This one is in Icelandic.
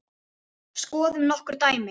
Skoðum nokkur dæmi.